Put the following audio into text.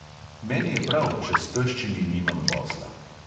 Meni je prav, če s teščimi nimam posla.